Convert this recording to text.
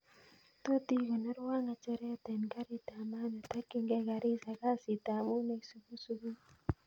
Tot ikonorwon ngecheret en garit ab maat netokyingei garissa kasit ab muut neisubu subui